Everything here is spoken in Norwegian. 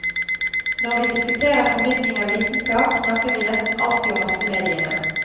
Når vi diskuterer formidling av vitenskap, snakker vi nesten alltid om massemediene.